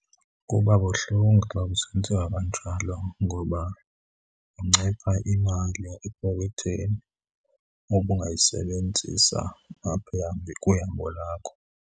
Kuba buhlungu xa kusenzeka kanjalo ngoba kuncipha imali epokothweni obungayisebenzisa apha , kwihambo lakho.